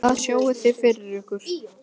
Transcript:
Hvað sjáið þið fyrir ykkur?